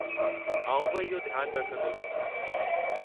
आउं बि इहो ध्यानु रखंदुसि।